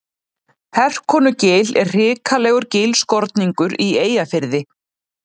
Herkonugil er hrikalegur gilskorningur í Eyjafirði.